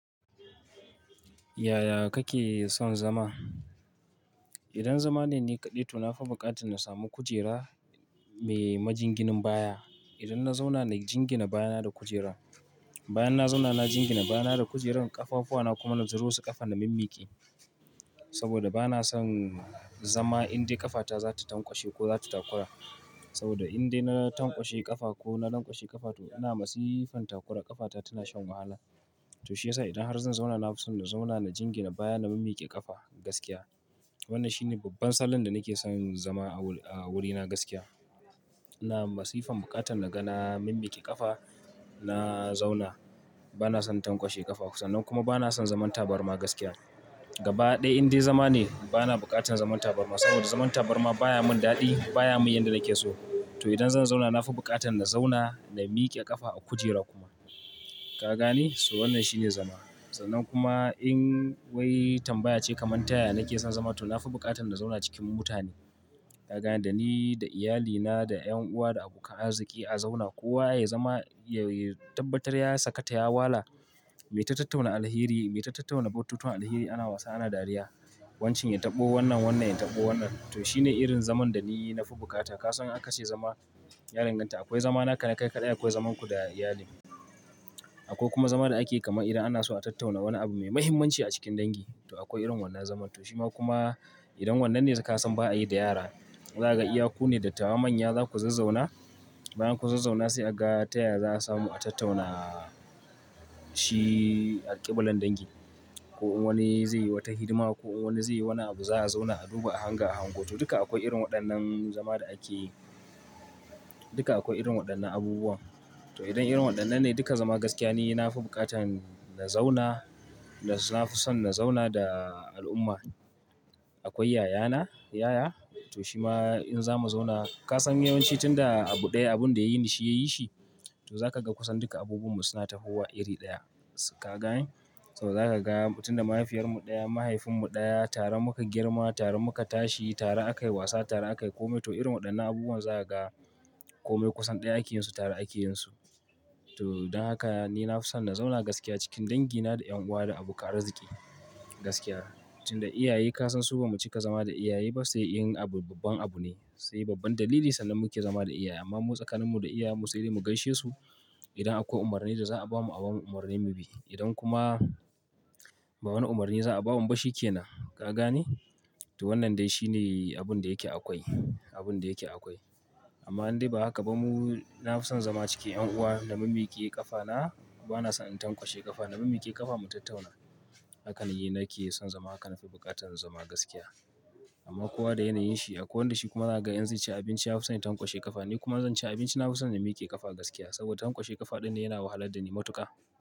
Yaya kake son zama? Idan zama ne ni kaɗai, to na fi buƙatan in samu kujera mai majinginin baya. Idan na zauna na jingina baya na da kujera. Bayan na zauna na jingina baya na da kujeran, ƙafafuwana kuma na zuro su ƙasa na mimmiƙe. Saboda ba na son zama indai ƙafata za ta tankwashe ko za ta takura. Saboda indai na tankwashe ƙafa ko na lanƙwashe ƙafa, to ina masifan takura ƙafata tana shan wahala. To shiyasa idan har zan zauna, na fi son na zauna na jingina baya na mimmiƙe ƙafa gaskiya. Wannan shi ne babban salon da nake son zama a wurina gaskiya. Ina masifan buƙatan na ga na mimmiƙe ƙafa, na zauna. Ba na son tankwashe ƙafa. Sannan kuma ba na son zaman tabarma gaskiya. Gaba ɗaya idan zama ne, ba na buƙatan zaman tabarma saboda zaman tabarma baya mun daɗi, baya mun yanda nake so. To idan zan zauna na fi buƙatan na zauna, na miƙe ƙafa a kujera kuma. Ka gane? To wannan shi ne zama. Sannan kuma in wai tambaya ce kamar ta yaya nake son zama, to na fi buƙatan na zauna cikin mutane. Ka gane? Da ni, da iyalina, da ƴan uwa, da abokan arziki a zauna. Kowa ya zama, ya tabbatar ya saka ta, ya wala. Mu ta tattauna alheri, mu ta tattauna batutuwan alheri, ana wasa, ana dariya. Wancan ya taɓo wannan, wannan ya taɓo wannan. To shi ne irin zaman da ni na fi bukata. Ka san aka ce zama ya danganta. Akwai zama naka na kai kaɗai, akwai zaman ku da iyali. Akwai kuma zama da ake kamar idan ana so a tattauna wani abu mai muhimmanci a cikin dangi. To akwai irin wannan zaman. To shi ma kuma idan wannan ne da ka san ba a yi da yara. Za ka iya ku ne dattawa manya za ku zazzauna. Bayan kun zazzauna sai a ga taya za a samu a tattauna shi alƙibilanan dangi. Ko wani zai yi wata hidima, ko wani zai yi wani abu, za a zauna a duba, a hanga, a hango. To duka akwai irin waɗannan zama da ake. Duka akwai irin waɗannan abubuwan. To idan irin waɗannan ne duka zama gaskiya ne, na fi buƙatan na zauna. Na fi son na zauna da al'umma. Akwai yayana, yaya. To shi ma in za mu zauna, ka san yawanci tunda abu ɗaya abun da ya ni, shi ya yi shi, to za ka ga kusan duka abubuwan mu suna tafuwa iri ɗaya. Ka gane? To za ka ga tunda mahaifiyarmu ɗaya, mahaifinmu ɗaya, tare muka girma, tare muka tashi, tare aka yi wasa, tare aka yi kome. To irin waɗannan abubuwan za ka ga kome kusan ɗaya ake yin su tare ake yin su. To don haka ni na fi son na zauna gaskiya cikin dangina, da ƴan uwa, da abokan arziki gaskiya. Tunda iyaye ka san su ba mu cika zama da iyaye ba sai yin abu babban abu ne. Sai babban dalili sannan muka zama da iyaye. Amma mu tsakaninmu da iyayenmu sai dai mu gaishe su. Idan akwai umarnin da za a bamu abamu umarni mu bi. Idan kuma ba wani umarni za a ba mu ba shi ke nan. Ka gane? To wannan dai shi ne abun da yake akwai. Abun da yake akwai. Amma in dai ba haka ba, mu-- na fi son zama cikin ƴan uwa na mimmiƙe ƙafana. Ba na son in tankwashe ƙafa. Na mimmiƙe ƙafa mu tattauna. Haka ne nake son zama. Haka na fi buƙatan zama gaskiya. Amma kowa da yanayin shi. Akwai wanda shi kuma za ka ga in zai ci abinci ya fi son ya tankwashe ƙafa. Ni kuma zan ci abinci na fi son na mmiƙe ƙafa gaskiya. Saboda tankwashe ƙafa ɗin ne yana wahalar da ni matuƙa.